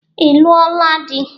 Ị lụola di?